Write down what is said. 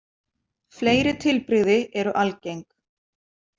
Fleiri tilbrigði eru algeng.